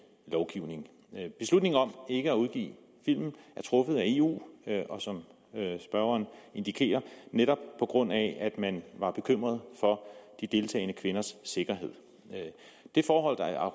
lovgivning beslutningen om ikke at udgive filmen er truffet af eu og som spørgeren indikerer netop på grund af at man var bekymret for de deltagende kvinders sikkerhed det forhold at